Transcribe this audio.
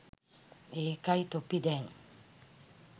ඒකයි තොපි දැන්